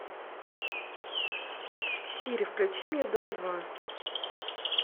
сири включи мне дом два